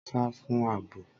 Sá fún àbò.!